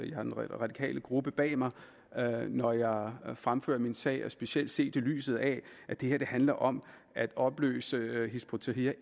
jeg har den radikale gruppe bag mig når jeg fremfører min sag og specielt set i lyset af at det her handler om at opløse hizb ut tahrir